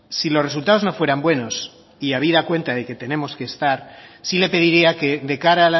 si los resultados no fueran buenos y habida cuenta de que tenemos que estar sí le pediría que de cara